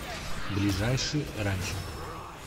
ближайший ранчо